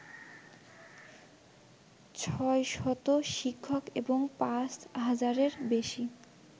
৬শত শিক্ষক এবং ৫ হাজারের বেশি